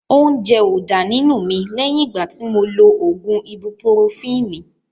Óúnjẹ ó dá nínú mi lẹ́yìn ìgbà tí mo lo ògùn ibupurofini